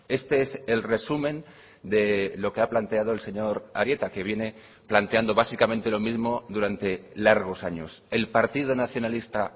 este es el resumen de lo que ha planteado el señor arieta que viene planteando básicamente lo mismo durante largos años el partido nacionalista